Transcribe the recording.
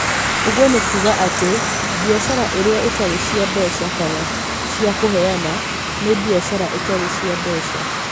Ũguo nĩ kuuga atĩ, biacara iria itarĩ cia mbeca kana cia kũheana nĩ biacara itarĩ cia mbeca.